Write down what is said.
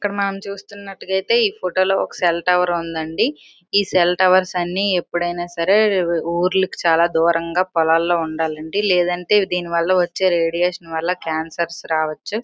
అక్కడ మనం చూస్తున్నట్లయితే ఈ ఫోటో లో ఒక సెల్ టవర్ ఉందండి ఈ సెల్ టవర్స్ లో ఎప్పుడైనా సరే ఊర్లకి చాలా దూరంగా పొలాల్లో ఉండాలండి లేదంటే దీని వల్ల వచ్చే రేడియేషన్ వల్ల క్యాన్సర్ రావచ్చు.